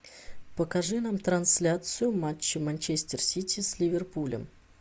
покажи нам трансляцию матча манчестер сити с ливерпулем